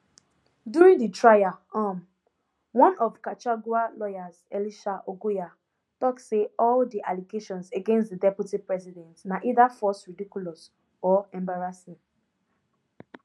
during di trial um one of gachagua lawyers elisha ongoya tok say all di allegations against di deputy president na either false ridiculous or embarrassing